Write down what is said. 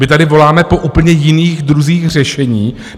My tady voláme po úplně jiných druzích řešení.